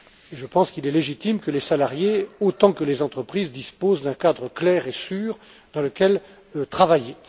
Je pense qu'il est légitime que les salariés autant que les entreprises disposent d'un cadre clair et sûr dans lequel travailler.